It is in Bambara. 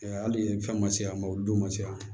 hali fɛn ma se yan nɔ o don ma se yan